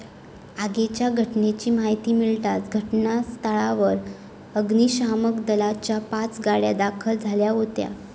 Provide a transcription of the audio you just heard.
आगीच्या घटनेची माहिती मिळताच घटनास्थळावर अग्निशामक दलाच्या पाच गाड्या दाखल झाल्या होत्या.